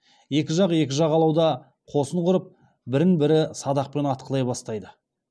екі жақ екі жағалауда қосын құрып бір бірін садақпен атқылай бастайды